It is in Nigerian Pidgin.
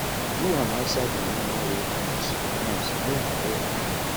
do am outside di normal way um sometimes no be all di time